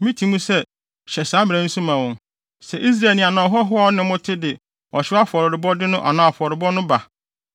“Miti mu sɛ, ‘Hyɛ saa mmara yi nso ma wɔn. Sɛ Israelni anaa ɔhɔho a ɔne mo te no de ɔhyew afɔrebɔde no anaa afɔrebɔ no ba,